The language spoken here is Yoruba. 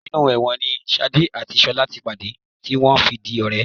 Inú ẹ̀wọ̀n ni ṣadé àti ṣọlá ti pàdé tí wọ́n fi di ọ̀rẹ́